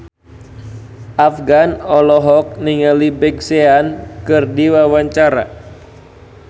Afgan olohok ningali Big Sean keur diwawancara